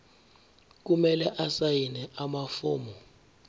kumele asayine amafomu